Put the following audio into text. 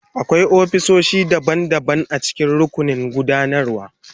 Akwai ofisoshi daban-daban a cikin rukunin gudanarwa.